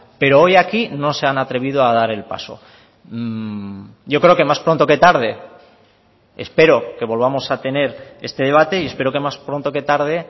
pero hoy aquí no se han atrevido a dar el paso yo creo que más pronto que tarde espero que volvamos a tener este debate y espero que más pronto que tarde